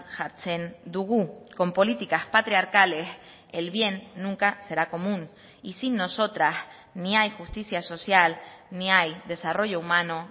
jartzen dugu con políticas patriarcales el bien nunca será común y sin nosotras ni hay justicia social ni hay desarrollo humano